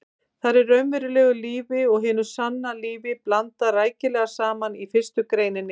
Þar er raunverulegu lífi og hinu sanna lífi blandað rækilega saman í fyrstu greininni.